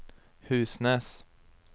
Husnes